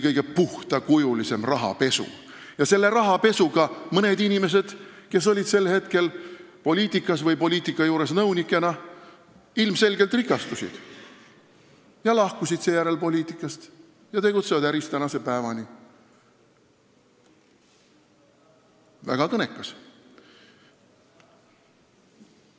Ja selle rahapesuga mõned inimesed, kes olid sel ajal poliitikas või nõunikena poliitika juures, ilmselgelt rikastusid, seejärel lahkusid poliitikast ja tegutsevad äris tänase päevani – väga kõnekas.